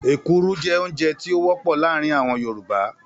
Èkuru jẹ́ oúnjẹ tí ó wọ́pọ̀ láàárín àwọn Yorùbá